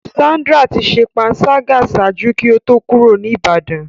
Sandra ti ṣe panṣaga ṣaaju ki o to kuro ni Ibadan.